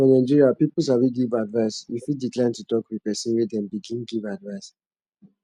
for nigeria people sabi give advice you fit decline to talk with person when dem begin give advise